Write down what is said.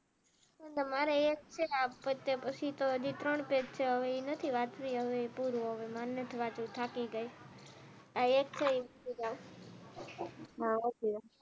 મારે એ હવે પતે એ પછી હાજી તો ત્રણ પેજ છે હવે એ નથી વાત ની પૂરું હવે માર નથી વાતો થતી ગઈ આ એક છે એ હા વાચીલે